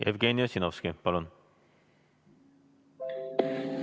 Jevgeni Ossinovski, palun!